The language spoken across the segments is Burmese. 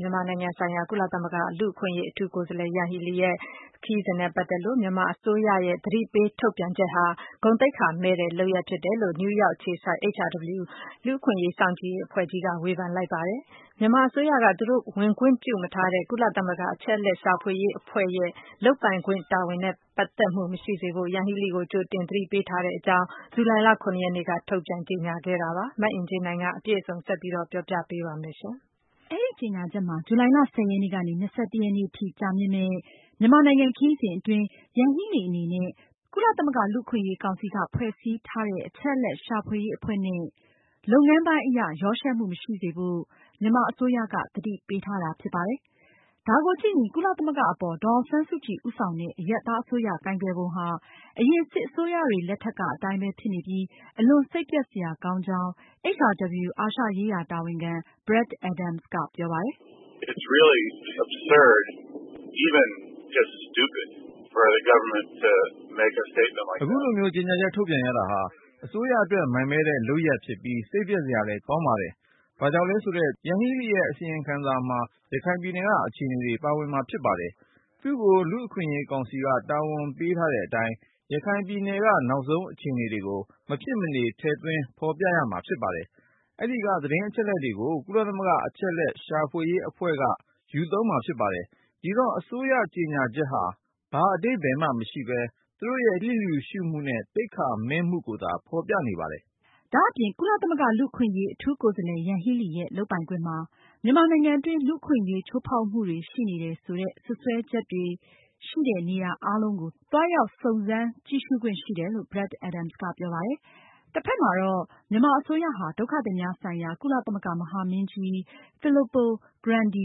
မြန်မာနိုင်ငံဆိုင်ရာ ကုလသမဂ္ဂ လူ့အခွင့်အရေး အထူးကိုယ်စားလှယ် ယန်ဟီလီရဲ့ ခရီးစဉ်နဲ့ ပတ်သက်လို့ မြန်မာအစိုးရရဲ့ သတိပေး ထုတ်ပြန်ချက်ဟာ ဂုဏ်သိက္ခာမဲ့တဲ့လုပ်ရပ်ဖြစ်တယ်လို့ နယူးရောက် အခြေစိုက် HRW လူ့အခွင့်အရေးစောင့်ကြည့်ရေး အဖွဲ့ကြီးက ဝေဖန်ပြောဆိုလိုက်ပါတယ်။ မြန်မာအစိုးရက သူတို့ ဝင်ခွင့်ပြုမထားတဲ့ ကုလသမဂ္ဂ အချက်အလက်ရှာဖွေရေးအဖွဲ့ရဲ့ လုပ်ပိုင်ခွင့်တာဝန်နဲ့ ပတ်သက်မှုမရှိစေဖို့ ယန်ဟီလီကို ကြိုတင်သတိပေးထားကြောင်း ဇူလိုင်လ ၇ ရက်နေ့က ထုတ်ပြန်ကြေညာထားပါတယ်။ မအင်ကြင်းနိုင်က အပြည့်အစုံကို ဆက်ပြီးတင်ပြမှာပါ။ အဲဒီကြေညာချက်မှာ- ဇူလိုင် ၁၀ ရက်ကနေ ၂၁ ရက်နေ့ထိ ကြာမြင့်မယ့် မြန်မာနိုင်ငံ ခရီးစဉ်အတွင်း ယန်ဟီလီအနေနဲ့ သူရဲ့တာဝန်တွေနဲ့ ကုလသမဂ္ဂ လူ့အခွင့်အရေး ကောင်စီက ဖွဲ့စည်းထားတဲ့ အချက်အလက် ရှာဖွေရေးအဖွဲ့နဲ့ လုပ်ငန်းပိုင်းအရ ရောယှက်မှု မရှိစေဖို့ မြန်မာအစိုးရက သတိပေးထားဖြစ်ပါတယ်။ ဒါကိုကြည့်ရင် ကုလသမဂ္ဂအပေါ် ဒေါ်အောင်ဆန်းစုကြည်ဦးဆောင်တဲ့ အရပ်သားအစိုးရ ကိုင်တွယ်ပုံဟာ အရင် စစ်အစိုးရတွေလက်ထက်ကအတိုင်းပဲဖြစ်နေပြီး အလွန်စိတ်ပျက် စရာကောင်းကြောင်း HRW အာရှရေးရာတာဝန်ခံ Brad Adams က ပြောပါတယ်။ အခုလိုမျိုး ကြေညာချက်ထုတ်ပြန်တာဟာ အစိုးရအတွက် မိုက်မဲတဲ့လုပ်ရပ်ဖြစ်ပြီး စိတ်ပျက် စရာလဲကောင်းပါတယ်။ Yanghee Lee ရဲ့ အစီရင်ခံစာမှာ ရခိုင်ပြည်နယ်က အခြေအနေတွေ ပါဝင်မှာဖြစ်ပါတယ်။ သူ့ကို လူ့အခွင့်အရေးကောင်စီက တာဝန်ပေး ထားတဲ့အတိုင်း ရခိုင်ပြည်နယ်က နောက်ဆုံးအခြေအနေတွေကို မဖြစ်မနေ ထည့်သွင်း ဖေါ်ပြ ရမှာဖြစ်ပါတယ်။ အဲဒီက သတင်းအချက်အလက်တွေကို ကုလသမဂ္ဂ အချက်အလက် ရှာဖွေရေးအဖွဲ့ကလည်း ဖတ်ရှုပြီး သူတို့ အစီရင်ခံစာအတွက် ယူသုံးမှာဖြစ်ပါတယ်။ ဒီတော့ အစိုးရကြေညာချက်ဟာ ဘာအဓိပ္ပါယ်မှ မရှိပဲ သူတို့ရဲ့ လျစ်လျူရှုမှုနဲ့ သိက္ခာမဲ့မှုကို ဖေါ်ပြနေပါတယ်။ ဒါအပြင် ကုလသမဂ္ဂ လူ့အခွင့်အရေး အထူးကိုယ်စားလှယ် ယန်ဟီလီရဲ့ လုပ်ပိုင်ခွင့်မှာ မြန်မာနိုင်ငံတွင်း လူ့အခွင့်အရေးချိူးဖောက်မှုတွေရှိနေတယ်ဆိုတဲ့ စွပ်စွဲချက်တွေရှိနေတဲ့ နေရာအားလုံးကို သွားရောက် စုံစမ်းကြည့်ရှုခွင့်ရှိတယ်လို့ Brad Adams ကပြောပါတယ်။ တဖက်မှာတော့ မြန်မာအစိုးရဟာ ဒုက္ခသည်များဆိုင်ရာ ကုလသမဂ္ဂမဟာမင်းကြီး Filippo Grandi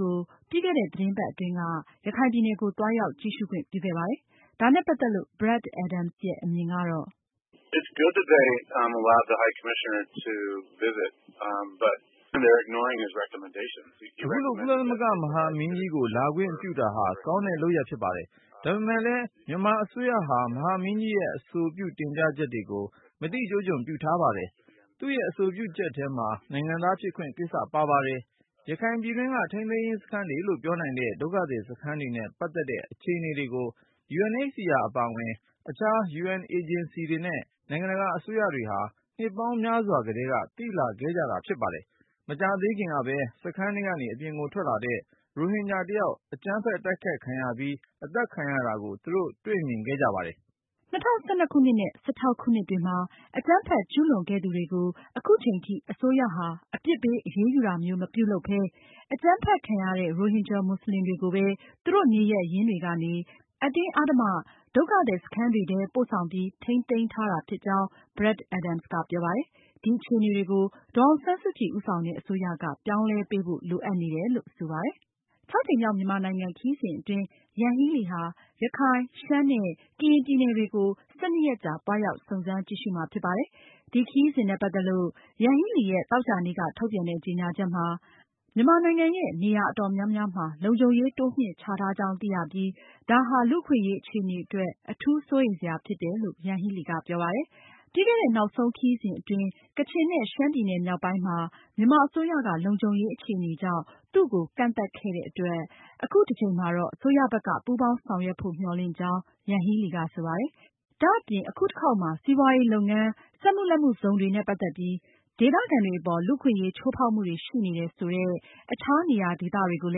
ကို ပြီးခဲ့တဲ့ သတင်းပတ်အတွင်းက ရခိုင်ပြည်နယ်ကို သွားရောက် ကြည့်ရှုခွင့်ပြုခဲ့ပါတယ်။ ဒါနဲ့ပတ်သက်လို့ Brad Adams ရဲ့ အမြင်ကတော့ - အခုလို ကုလသမဂ္ဂမဟာမင်းကြီးကို လာခွင့်ပြုတာဟာ ကောင်းတဲ့လုပ်ရပ်ဖြစ်ပါတယ်။ ဒါပေမဲ့လည်း မြန်မာအစိုးရဟာ မဟာမင်းကြီးရဲ့ အဆိုပြုတင်ပြချက်တွေကို မသိကျိုးကျွန်ပြုထားပါတယ်။ သူရဲ့ အဆိုပြုချက်ထဲမှာ နိုင်ငံသားဖြစ်ခွင့် ကိစ္စပါပါတယ်။ ရခိုင်ပြည်တွင်းက ထိန်းသိမ်းရေးစခန်းတွေလို ပြောနိုင်တဲ့ ဒုက္ခသည်စခန်းတွေနဲ့ ပတ်သက်တဲ့အခြေအနေတွေကို UNHCR အပါအဝင် အခြား UN အေဂျင်စီတွေနဲ့ နိုင်ငံတကာအစိုးရတွေဟာ နှစ်ပေါင်းများစွာကတည်းက သိလာခဲ့ကြတာဖြစ်ပါတယ်။ မကြာသေးခင်ကပဲ စခန်းထဲကနေ အပြင်ကို ထွက်လာတဲ့ ရိုဟင်ဂျာတချို့ အကြမ်းဖက် တိုက်ခိုက်ခံရပြီး တယောက် အသတ်ခံခဲ့ရတဲ့ဖြစ်ရပ်ကို သူတို့တွေ့မြင်ခဲ့ကြပါတယ်။ ၂၀၁၂ခုနှစ်နဲ့ ၂၀၁၆ခုနှစ်တွေမှာ အကြမ်းဖက်ကျူးလွန်ခဲ့သူတွေကို အခုချိန်ထိ အစိုးရဟာ အပြစ်ပေးအရေးယူတာမျိုး မပြုလုပ်ပဲ အကြမ်းဖက်ခံရတဲ့ ရိုဟင်ဂျာမွတ်စလင်တွေကိုပဲ သူတို့နေရပ်ရင်းတွေကနေ အတင်းအဓမ္မ ဒုက္ခသည် စခန်းတွေထဲ ပို့ဆောင်ပြီး ထိန်းသိမ်းထားတာဖြစ်ကြောင်း Brad Adams ကပြောပါတယ်။ ဒီအခြေအနေတွေကို ဒေါ်အောင်ဆန်းစုကြည် အစိုးရက ပြောင်းလဲပေးဖို့ လိုအပ်တယ်လို့ ဆိုပါတယ်။ ၆ ကြိမ်မြောက် မြန်မာနိုင်ငံခရီးစဉ်တွင်း ယန်ဟီလီဟာ ရခိုင်၊ ရှမ်းနဲ့ ကရင် ပြည်နယ်တွေကို ၁၂ ရက်ကြာသွားရောက် စုံစမ်းကြည့်ရှုမှာဖြစ်ပါတယ်။ ခရီးစဉ်နဲ့ ပတ်သက်လို့ ယန်ဟီလီရဲ့ သောကြာနေ့က ထုတ်ပြန်တဲ့ ကြေညာချက်မှာ မြန်မာနိုင်ငံရဲ့ နေရာအတော်များများမှာ လုံခြုံရေးတိုးမြှင့်ချထားကြောင်း သိရပြီး ဒါဟာ လူ့အခွင့်အရေးအခြေအနေအတွက် အထူးစိုးရိမ်စရာဖြစ်တယ်လို့ ပြောပါတယ်။ ပြီးခဲ့တဲ့ နောက်ဆုံးခရီးစဉ်အတွင်း ကချင်နဲ့ ရှမ်းပြည်နယ်မြောက်ပိုင်းမှာ မြန်မာအစိုးရက လုံခြုံရေးအခြေအနေကြောင့် သူ့ကို ကန့်သတ်ခဲ့တဲ့အတွက် အခုတကြိမ်မှာတော့ အစိုးရဘက်က ပူးပေါင်းဆောင်ရွက်ဖို့ မျှော်လင့်ကြောင်း ယန်ဟီလီက ဆိုပါတယ်။ ဒါအပြင် အခုတခေါက်မှာ စီးပွားရေးလုပ်ငန်း စက်မှုလက်မှုဇုံတွေနဲ့ပတ်သက်ပြီး ဒေသခံတွေအပေါ် လူ့အခွင့်အရေးချိုးဖောက်မှုတွေရှိနေတယ်ဆိုတဲ့ အခြား နေရာဒေသတွေကိုလ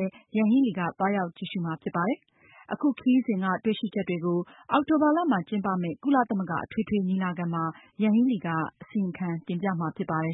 ည်း ယန်ဟီလီက သွားရောက်ကြည့်ရှုမှာ ဖြစ်ပါတယ်။ အခုခရီးစဉ်က တွေ့ရှိချက်တွေကို အောက်တိုဘာလမှာ ကျင်းပမယ့် ကုလသမဂ္ဂ အထွေထွေညီလာခံမှာ ယန်ဟီလီက အစီရင်ခံတင်ပြမှာဖြစ်ပါတယ်